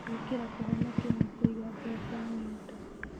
Gwĩkĩra Kũhonokia na Kũiga Mbeca Ng'endo: